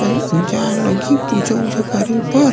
अऊ जाएल लगही पूजा उजा करे बर--